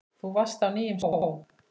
Þú varst á nýjum skóm.